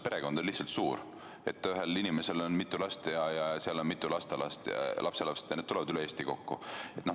Perekond on lihtsalt suur – ühel inimesel on mitu last ja õige mitu lapselast ja need tulevad üle Eesti kokku.